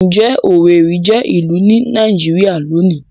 Ǹjẹ́ Owerri jẹ́ ìlú ní Nàìjíríà lónìí?